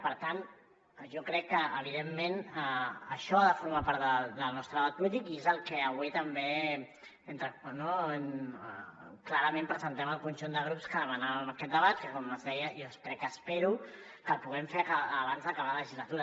per tant jo crec que evidentment això ha de formar part del nostre debat polític i és el que avui també clarament presentem el conjunt de grups que demanàvem aquest debat que com es deia jo espero que el puguem fer abans d’acabar la legislatura